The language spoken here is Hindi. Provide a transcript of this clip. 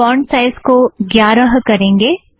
फ़ोंट साइज़ को ग्यारह करेंगें